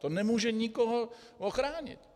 To nemůže nikoho ochránit!